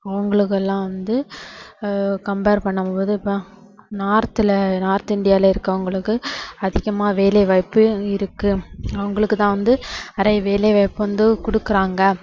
அவங்களுக்கு எல்லாம் வந்து ஆஹ் compare பண்ணும் போது இப்போ north ல north இந்தியால இருக்கவங்களுக்கு அதிகமா வேலை வாய்ப்பு இருக்கு அவங்களுக்கு தான் வந்து நிறைய வேலைவாய்ப்பு வந்து கொடுக்குறாங்க.